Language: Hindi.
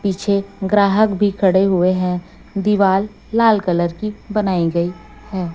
पीछे ग्राहक भी खड़े हुए हैं दीवाल लाल कलर की बनाई गई है।